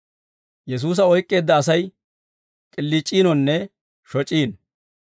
Yesuusa oyk'k'eedda Asay k'iliic'iinonne shoc'iino.